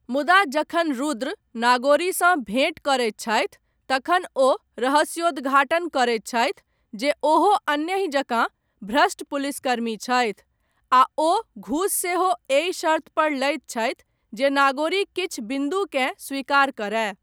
मुदा, जखन रुद्र, नागोरीसँ भेँट करैत छथि, तखन ओ रहस्योद्घाटन करैत छथि, जे ओहो अन्यहि जकाँ भ्रष्ट पुलिसकर्मी छथि, आ ओ घूस सेहो, एहि शर्त्तपर लैत छथि, जे नागोरी किछु बिन्दुकेँ स्वीकार करए।